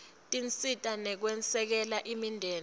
tinsita tekwesekela imindeni